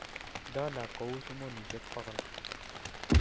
Dola kouu sumonishel bogol